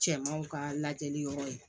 Cɛmanw ka lajɛli yɔrɔ ye